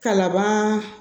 Kalaban